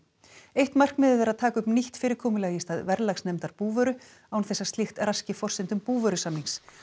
eitt markmiðið er að taka upp nýtt fyrirkomulag í stað verðlagsnefndar búvöru án þess að slíkt raski forsendum búvörusamnings